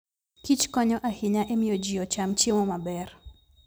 kichkonyo ahinya e miyo ji ocham chiemo maber.